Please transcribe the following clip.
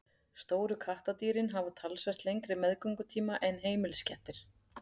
stóru kattardýrin hafa talsvert lengri meðgöngutíma en heimiliskettir